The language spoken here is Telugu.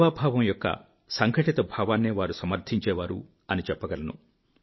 సేవాభావం ద్వారా సంఘటిత భావాన్నే వారు సమర్థించేవారు అని చెప్పగలను